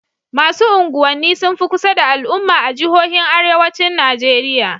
Masu unguwanni sun fi kusa da al'umma a jihojin Arewacin Najeriya.